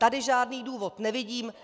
Tady žádný důvod nevidím.